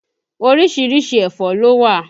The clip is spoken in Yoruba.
Orísìírísìí ẹ̀fọ́ ló wà